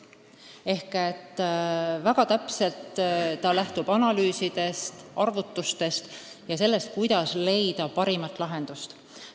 Eelnõu lähtub väga täpsetest analüüsidest ja arvutustest, et leida parimaid lahendusi.